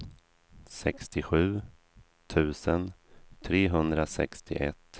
sextiosju tusen trehundrasextioett